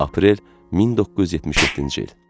Aprel 1977-ci il.